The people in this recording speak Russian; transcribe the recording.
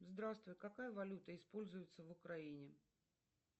здравствуй какая валюта используется в украине